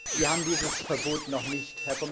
Wir haben dieses Verbot noch nicht.